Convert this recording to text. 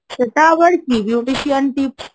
সেটা আবার কি Beautician Tips,